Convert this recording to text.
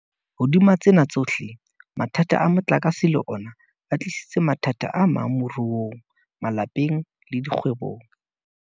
Hodima tsena tsohle, mathata a motlakase le ona a tlisitse mathata amang moruong, malapeng le dikgwebong.